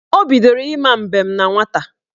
Ọ bidoro ịma mbem na nwata